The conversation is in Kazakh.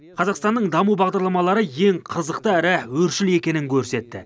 қазақстанның даму бағдарламалары ең қызықты әрі өршіл екенін көрсетті